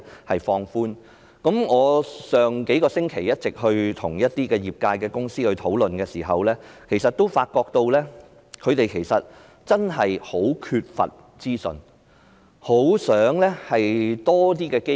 我在數個星期前與業界公司討論時，發覺他們真的很缺乏資訊，他們很想有更多的機會。